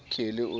kelly o ne o na